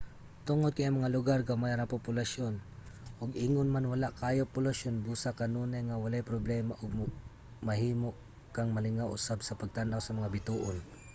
tungod kay ang mga lugar gamay ra ang populasyon ug ingon man wala kaayo polusyon busa kanunay nga walay problema ug mahimo kang malingaw usab sa pagtan-aw sa mga bituon